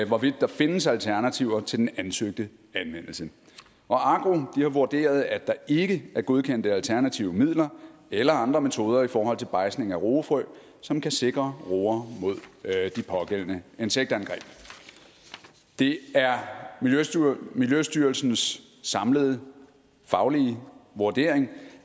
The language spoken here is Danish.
hvorvidt der findes alternativer til den ansøgte anvendelse og agro har vurderet at der ikke er godkendte alternative midler eller andre metoder i forhold til bejdsning af roefrø som kan sikre roer mod de pågældende insektangreb det er miljøstyrelsens samlede faglige vurdering